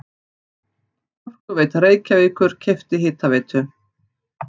Orkuveita Reykjavíkur keypti Hitaveitu